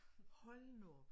Hold nu op